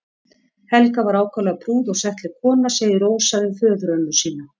Helga var ákaflega prúð og settleg kona segir Rósa um föðurömmu sína.